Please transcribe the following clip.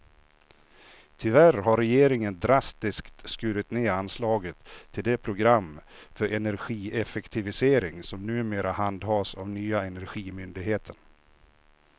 Tyvärr har regeringen drastiskt skurit ned anslaget till det program för energieffektivisering som numera handhas av nya energimyndigheten.